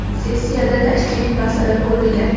Sessiyada tashkiliy masala ko‘rilgan.